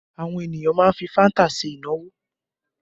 Àwọn ènìyàn má ń fi fanta ṣe ìnáwó